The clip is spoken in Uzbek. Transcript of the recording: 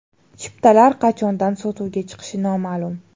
Chiptalar qachondan sotuvga chiqishi noma’lum.